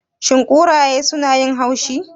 Shin kuraye sunayin haushi?